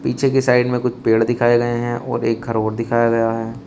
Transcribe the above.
पीछे की साइड में कुछ पेड़ दिखाएं गए हैं और एक घर और दिखाया गया है।